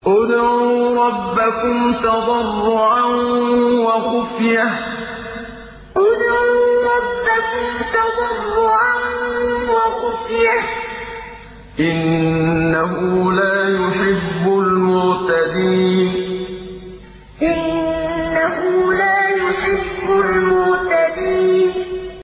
ادْعُوا رَبَّكُمْ تَضَرُّعًا وَخُفْيَةً ۚ إِنَّهُ لَا يُحِبُّ الْمُعْتَدِينَ ادْعُوا رَبَّكُمْ تَضَرُّعًا وَخُفْيَةً ۚ إِنَّهُ لَا يُحِبُّ الْمُعْتَدِينَ